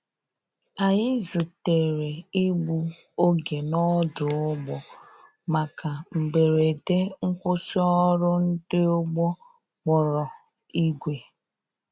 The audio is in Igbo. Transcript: Anyi zutere igbụ oge n' odu‐ụgbọ maka mgberede nkwụsi ọrụ ndi ụgbọ kpọrọ igwe